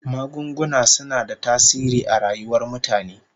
Magunguna suna da tasiri a rayuwar mutane